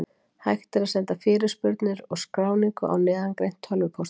Hægt er að senda fyrirspurnir og skráningu á neðangreint tölvupóstfang.